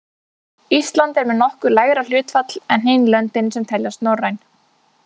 Ísland er með nokkuð lægra hlutfall en hin löndin sem teljast norræn.